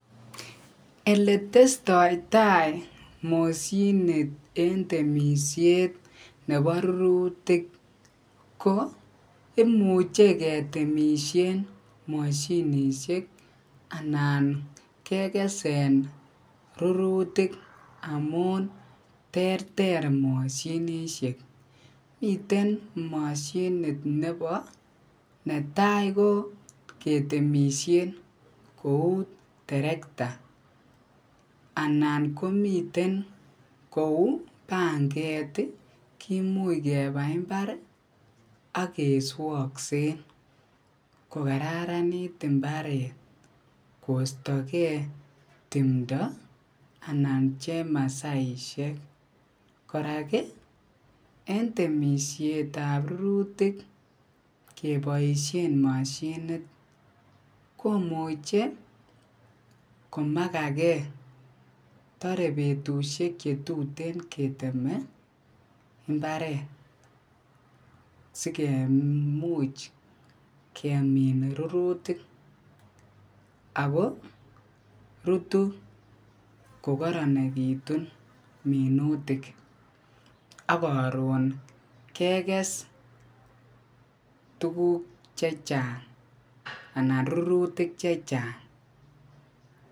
Eletestoi tai moshinit eng temisiet nebo rurutik ko imuche kotemishe moshinishek anan kekesen rurutik amun ter ter moshinishek miten mashinit nebo ketemishe kou terekta anan komiten kou panget kimuch keba imbar akeswoksen kokarananit imbaret koistokei timto anan chemasaishek kora eng temisiet ap rurutik keboishen mashinit komuchei komakakee torei betushek chetuten keteme imbaret sikemuch kemin rurutik ako rutu ko koronitu minutik akaron kekes tukuk chechang anan rurutik chechang